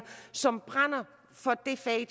som brænder for det fag